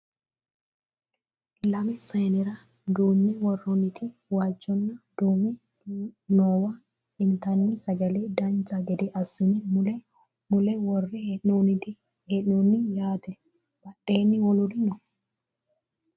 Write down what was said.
lame sayiinera duunne worrooniti waajjonna duume noowa intanni sagale dancha gede assine mule mule worre hee'noonni yaate badheenni woluri no